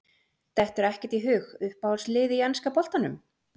Dettur ekkert í hug Uppáhalds lið í enska boltanum?